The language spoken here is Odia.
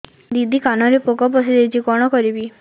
ଦିଦି କାନରେ ପୋକ ପଶିଯାଇଛି କଣ କରିଵି